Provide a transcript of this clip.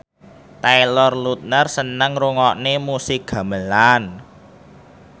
Taylor Lautner seneng ngrungokne musik gamelan